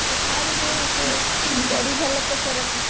ପୁଷ୍ପା ରେ ସେ ଯୋଉ ତେରି ଝଲକ ସରଫି